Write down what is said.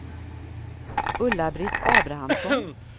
Ulla-Britt Abrahamsson